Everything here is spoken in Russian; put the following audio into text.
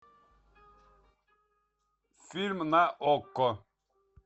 фильм на окко